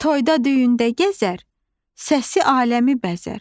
Toyda düyündə gəzər, səsi aləmi bəzər.